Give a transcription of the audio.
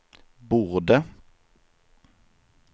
borde